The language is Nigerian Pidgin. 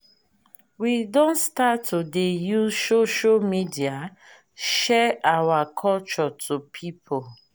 we don start to dey use social media share our culture to pipo.